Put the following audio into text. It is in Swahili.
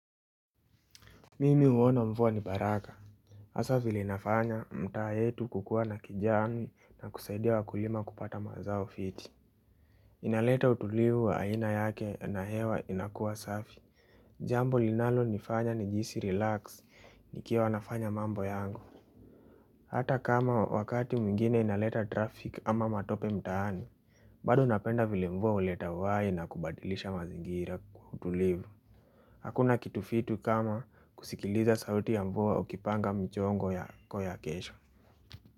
Mimi huona mvua ni baraka hasa vile inafanya mtaa yetu kukua na kijani na kusaidia wakulima kupata mazao fiti inaleta utulivu wa aina yake na hewa inakua safi Jambo linalo nifanya nijihisi relax nikiwa nafanya mambo yangu Hata kama wakati mwingine inaleta traffic ama matope mtaani bado napenda vile mvua huleta uhai na kubadilisha mazingira utulivu Hakuna kitu fiti kama kusikiliza sauti ya mvua ukipanga mchongo yako ya kesho.